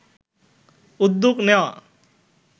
উদ্যোগ নেওয়া